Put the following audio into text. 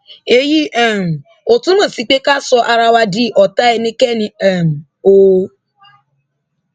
èyí um ò túmọ sí pé ká sọ ara wa di ọtá ẹnikẹni um o